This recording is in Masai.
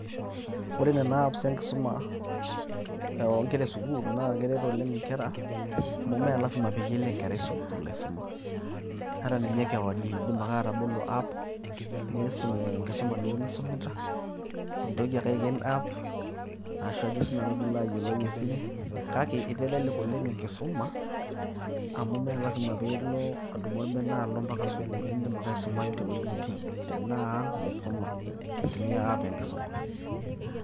Ore nena apps enkisuma onkera esukuul, na keret oleng' inkera, amu me lasima peyie elo enkerai sukuul aisuma. Ata ninye kewarie, kiidim ake atabolo app ,niisum enkisuma duo nisumita, nintoki ake aiken app ashu ajo sinanu pilo ayiolou esimu. Kake eitelelek oleng' enkisuma, amu me lasima pilo adumu orbene alo mpaka sukuul. Idim ake aisumayu tewueji nitii. Tenaa ang',nisuma. Nitumia app enkisuma.